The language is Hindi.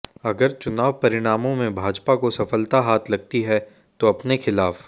अगर चुनाव परिणामों में भाजपा को सफलता हाथ लगती है तो अपने खिलाफ